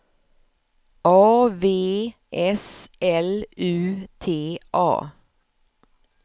A V S L U T A